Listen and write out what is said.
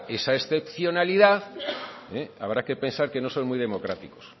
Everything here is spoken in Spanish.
esa excepcionalidad eh habrá que pensar que no son muy democráticos